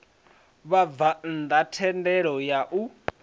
vhabvann ḓa thendelo ya u